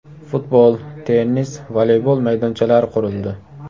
Futbol, tennis, voleybol maydonchalari qurildi.